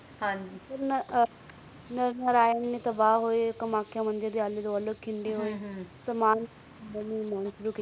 ਹਨ ਜੀ ਹਨ ਜੀ ਨਾਰਾਇਣ ਨੇ ਤਬਾਹ ਹੋਏ ਮਖਾਯਾ ਮੰਦਿਰ ਦੇ ਆਲੇ ਦੁਵਾਲੇ